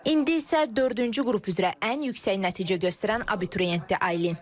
İndi isə dördüncü qrup üzrə ən yüksək nəticə göstərən abituriyentdir Aylin.